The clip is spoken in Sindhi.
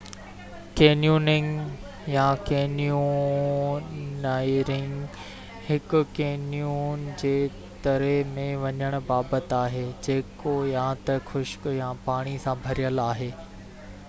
ڪينيوننگ يا: ڪينيونيئرنگ هڪ ڪينيون جي تري ۾ وڃڻ بابت آهي، جيڪو يا ته خشڪ يا پاڻي سان ڀريل آهي